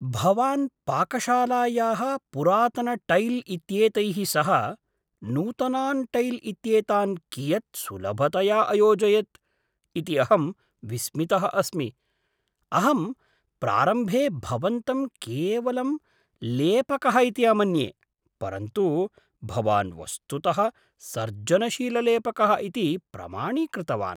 भवान् पाकशालायाः पुरातनटैल् इत्येतैः सह नूतनान् टैल् इत्येतान् कियत् सुलभतया अयोजयत् इति अहं विस्मितः अस्मि, अहं प्रारम्भे भवन्तं केवलं लेपकः इति अमन्ये, परन्तु भवान् वस्तुतः सर्जनशीललेपकः इति प्रमाणीकृतवान्।